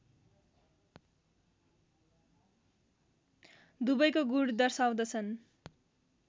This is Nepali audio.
दुवैको गुण दर्शाउँछन्